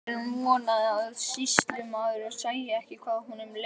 Pilturinn vonaði að sýslumaður sæi ekki hvað honum leið.